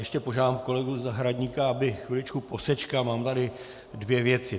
Ještě požádám kolegu Zahradníka, aby chviličku posečkal, mám tady dvě věci.